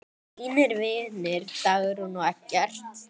Þínir vinir, Dagrún og Eggert.